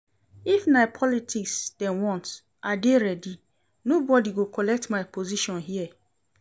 If na politics dem want, I dey ready. Nobodi go collect my position here.